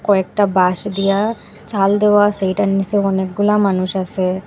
কয়েকটা বাঁশ দিয়া চাল দেওয়া আসে হেইটার নীচে অনেকগুলা মানুষ আসে।